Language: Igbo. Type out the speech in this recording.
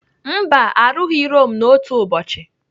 Mba arụghị Rome n'otu ụbọchị.